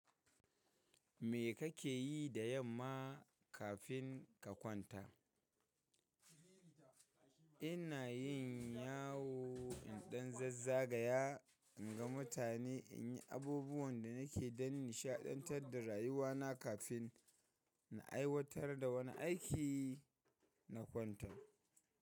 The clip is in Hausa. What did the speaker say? Me kake yi da yamma kafin ka kwanta? Ina yin yawo iɗan zazzagaya in ga mutane, in yi abubuwan da nake dan, nishaɗantar da rayuwana kafin na aiwatar da wani aiki na kwanton.